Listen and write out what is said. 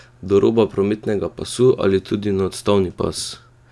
Do roba prometnega pasu ali tudi na odstavni pas?